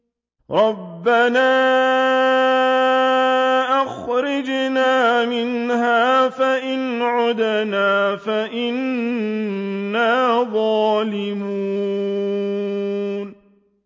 رَبَّنَا أَخْرِجْنَا مِنْهَا فَإِنْ عُدْنَا فَإِنَّا ظَالِمُونَ